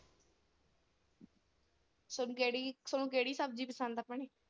ਥੋਨੂੰ ਕਿਹੜੀ, ਥੋਣਾ ਕਿਹੜੀ ਸਬਜ਼ੀ ਪਸੰਦ ਆ ਭੈਣੇ?